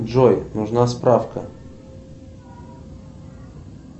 джой нужна справка